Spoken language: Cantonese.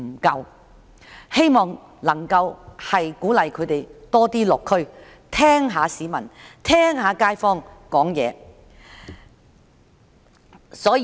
我希望政府能鼓勵他們多落區聽街坊表達意見。